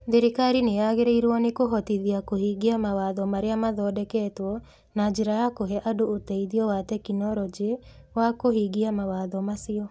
Thirikari nĩ yagĩrĩirwo nĩ kũhotithia kũhingia mawatho marĩa mathondeketwo na njĩra ya kũhe andũ ũteithio wa tekinoronjĩ wa kũhingia mawatho macio.